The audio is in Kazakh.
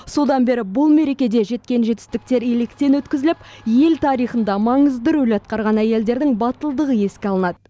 содан бері бұл мерекеде жеткен жетістіктер електен өткізіліп ел тарихында маңызды рөл атқарған әйелдердің батылдығы еске алынады